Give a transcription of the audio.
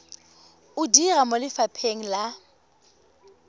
o dira mo lefapheng la